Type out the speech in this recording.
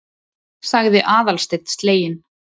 sagði Aðalsteinn sleginn.